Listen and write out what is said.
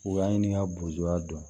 U y'a ɲini ka boya dɔn